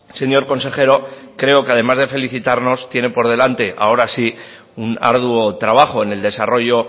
señor consejero creo que además de felicitarnos tiene por delante ahora sí un arduo trabajo en el desarrollo